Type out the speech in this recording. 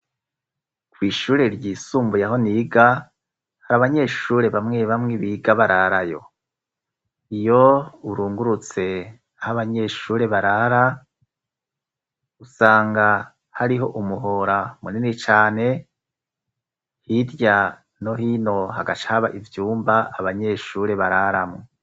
Kw'ishure ryisumbuye aho niga, hari abanyeshure bamwe bamwe biga bararayo. Iyo urungurutse h'abanyeshure barara usanga hariho umuhora munini cane hirya no hino hagacaba ivyumba abanyeshure bararamwo.